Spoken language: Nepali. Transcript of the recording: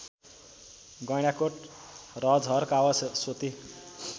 गैँडाकोट रजहर कावासोती